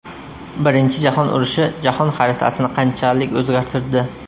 Birinchi jahon urushi jahon xaritasini qanchalik o‘zgartirdi?